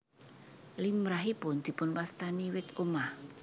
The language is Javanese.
Limrahipun dipunwastani wit omah